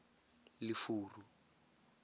lefuru